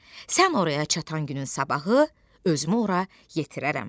Sən oraya çatan günün sabahı özümü ora yetirərəm.